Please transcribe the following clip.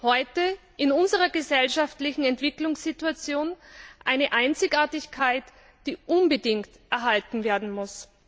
Dies ist heute in unserer gesellschaftlichen Entwicklungssituation eine Einzigartigkeit, die unbedingt erhalten werden muss.